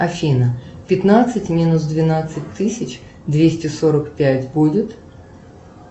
афина пятнадцать минус двенадцать тысяч двести сорок пять будет